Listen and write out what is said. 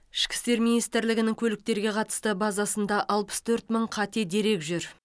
ішкі істер министрлігінің көліктерге қатысты базасында алпыс төрт мың қате дерек жүр